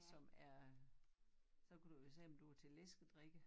Som er så kan du jo sige om du er til læsekdrikke